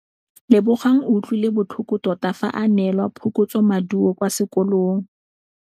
Lebogang o utlwile botlhoko tota fa a neelwa phokotsômaduô kwa sekolong.